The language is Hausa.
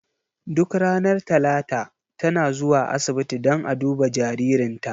Duk ranar talata ta na zuwa asibiti dan a duba jaririnta.